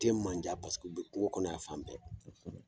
U tɛ mandiya u bɛ kungo kɔnɔ y'an fan bɛɛ